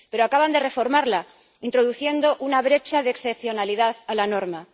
Pero acaban de reformarla introduciendo una brecha de excepcionalidad a la norma.